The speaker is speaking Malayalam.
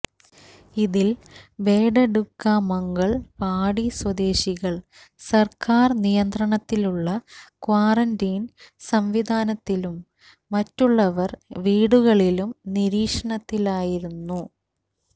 ഇതിൽ ബേഡഡുക്ക മംഗൽ പാടി സ്വദേശികൾ സർക്കാർ നിയന്ത്രണത്തിലുള്ള ക്വാറന്റീൻ സംവിധാനത്തിലും മറ്റുള്ളവർ വീടുകളിലും നിരീക്ഷണത്തിലായിരുന്നു